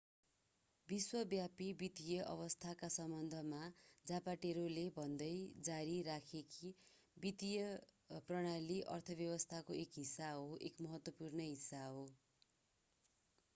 विश्वव्यापी वित्तीय अवस्थाका सम्बन्धमा जापाटेरोले भन्दै जारी राखे कि वित्तीय प्रणाली अर्थव्यवस्थाको एक हिस्सा हो एक महत्त्वपूर्ण हिस्सा हो